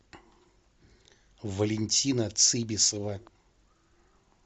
валентина цибисова